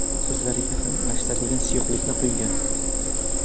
Ko‘zlariga ham achitadigan suyuqlikni quygan.